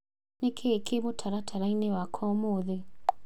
Nĩ kĩĩ kĩĩ mũtaratara-inĩ wakwa ũmũthĩ.?